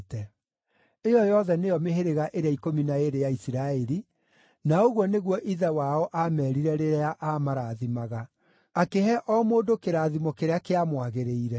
Ĩyo yothe nĩyo mĩhĩrĩga ĩrĩa ikũmi na ĩĩrĩ ya Isiraeli, na ũguo nĩguo ithe wao aameerire rĩrĩa aamarathimaga, akĩhe o mũndũ kĩrathimo kĩrĩa kĩamwagĩrĩire.